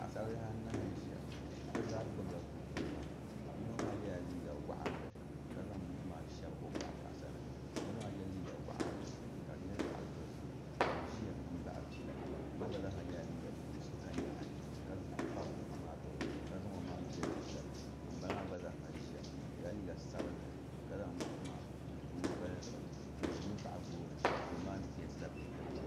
paɣasaribihi anahi n ʒia bɛ zaa gbibi la bukunima yino maa yela liiga waɣinli ka zaŋ buku maa n-shabi o yaɣisa ni ka yino maa ye liiga waɣinli ka di nyɛ zaɣ' dozim ka o ʒia m-baɣi pila ŋun maa gba nyɛla ŋun ye liiga din nyɛ sokanyaɣi ka kpabi buku maa gbiba ka zaŋ o maŋa n-jeli pila ŋun bala maa gba zaa ha ʒi-a o yela liiga sabinlli ka zaŋ buku maa m-pa o gbaya zuɣu o ʒimi baɣi gooni gooni maa peentila peenta piɛlli